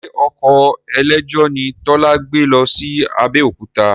Ṣe ọkọ̀ eléjò ni Tọ́lá gbé lọ sí Abẹ́òkúta?